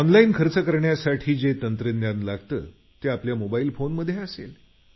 online खर्च करण्यासाठी जे तंत्रज्ञान लागतं ते आपल्या मोबाईल फोनमध्ये असेल